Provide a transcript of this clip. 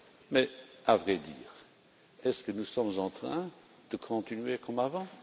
Mais, à vrai dire, est ce que nous sommes en train de continuer comme avant?